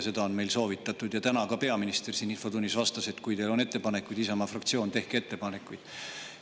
Seda on meile soovitatud ja ka täna peaminister siin infotunnis vastas, et kui teil on ettepanekuid, Isamaa fraktsioon, siis tehke neid.